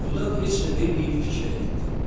Balıqdan heç nə deməyib fikrə getdi.